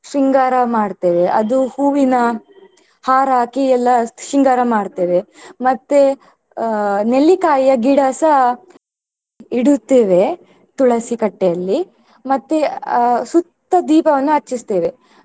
ಶೃಂಗಾರ ಮಾಡ್ತೇವೆ ಅದು ಹೂವಿನ ಹಾರ ಹಾಕಿ ಎಲ್ಲಾ ಶೃಂಗಾರ ಮಾಡ್ತೇವೆ ಮತ್ತೆ ಅಹ್ ನೆಲ್ಲಿಕಾಯಿಯ ಗಿಡಸ ಇಡುತ್ತೇವೆ ತುಳಸಿ ಕಟ್ಟೆಯಲ್ಲಿ ಮತ್ತೆ ಅಹ್ ಸುತ್ತ ದೀಪವನ್ನು ಹಚ್ಚಿಸ್ತೇವೆ.